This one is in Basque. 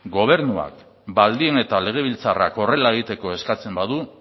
gobernuak baldin eta legebiltzarrak horrela egiteko eskatzen badu